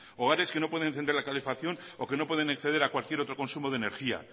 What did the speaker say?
hogares que no pueden encender la calefacción o que no pueden acceder a cualquier otro consumo de energía